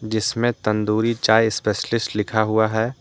जिसमें तंदूरी चाय स्पेशियलिस्ट लिखा हुआ है।